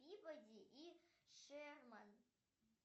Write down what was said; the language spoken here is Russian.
пибоди и шерман